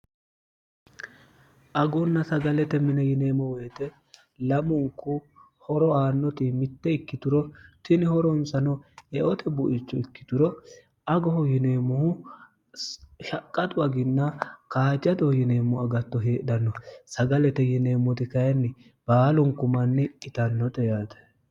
agunna sagalete mine yineemmo woyite lamunku horo aannoti mitte ikkituro tini horonsano eote buicho ikkituro agoho yineemmohu shaqqaxu aginna kaajjadoh yineemmo agatto heedhanno sagalete yineemmoti kayinni baalunku manni itannote yaate